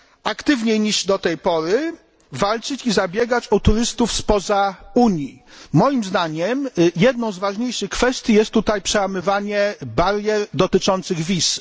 aktywniej niż do tej pory walczyć i zabiegać o turystów spoza Unii. Moim zdaniem jedną z ważniejszych kwestii jest tutaj przełamywanie barier dotyczących wiz.